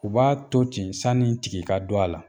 U b'a to ten sani tigi ka don a la